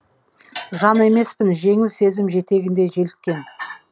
жан емеспін жеңіл сезім жетегінде желіккен